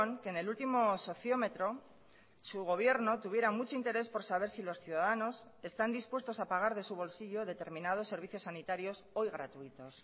que en el último sociómetro su gobierno tuviera mucho interés por saber si los ciudadanos están dispuesto a pagar de su bolsillo determinados servicios sanitarios hoy gratuitos